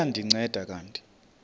liya ndinceda kanti